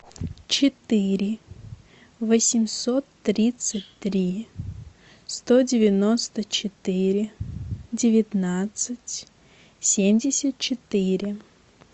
четыре восемьсот тридцать три сто девяносто четыре девятнадцать семьдесят четыре